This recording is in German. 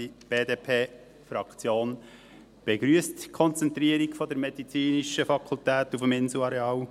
Die BDP-Fraktion begrüsst die Konzentrierung der medizinischen Fakultät auf dem Inselareal.